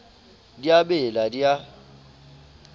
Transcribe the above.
di a bela di a